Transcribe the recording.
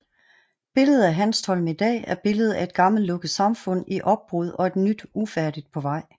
Billedet af Hanstholm i dag er billedet af et gammelt lukket samfund i opbrud og et nyt ufærdigt på vej